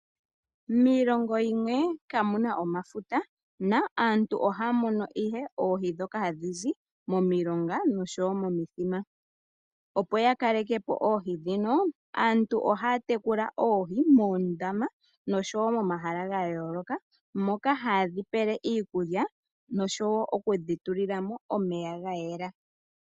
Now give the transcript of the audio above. Miilongo yimwe kamuna omafuta aantu ohaya munu ihe oohi ndhoka hadhizi momilonga noshowo momithima. Opo yakaleke po oohi dhino aantu ohaya tekula oohi moondama noshowo momahala gayooloka , moka hayedhi pele iikulya noshowo okudhi tulilamo omeya gayela.